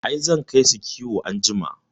I, zan kai su kiwo anjima